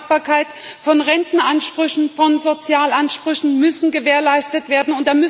Die Übertragbarkeit von Rentenansprüchen, von Sozialansprüchen muss gewährleistet werden.